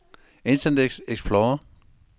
internet explorer